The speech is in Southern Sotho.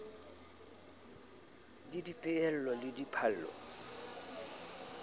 le c dipehelo le dipallo